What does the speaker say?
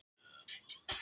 Snæbjörg